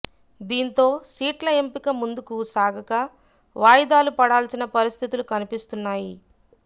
దీంతో సీట్ల ఎంపిక ముందుకు సాగక వాయిదాలు పడాల్సిన పరిస్థితులు కనిపిస్తున్నాయి